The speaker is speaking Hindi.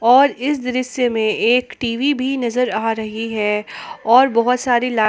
और इस दृश्य में एक टी_वी भी नजर आ रही है और बहुत सारी ला--